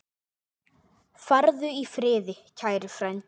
Farðu í friði, kæri frændi.